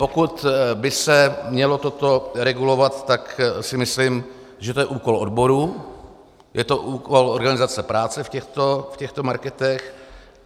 Pokud by se mělo toto regulovat, tak si myslím, že to je úkol odborů, je to úkol organizace práce v těchto marketech.